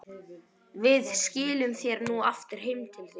Við skilum þér nú aftur heim til þín.